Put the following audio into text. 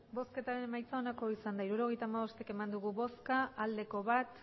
emandako botoak hirurogeita hamabost bai bat